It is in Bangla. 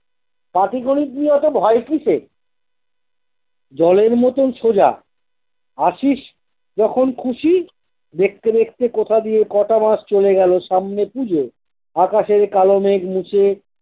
পাটি গনিত নিয়ে অতো ভয় কিসের জলের মতন সোজা আসিস যখন খুশি দেখতে দেখতে কোথা দিয়ে কটা মাস চলে গেল সামনে পুজো আকাশের কাল মেঘ মিশে।